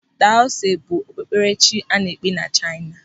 Taoism bụ okpukperechi a na-ekpe na Chaina.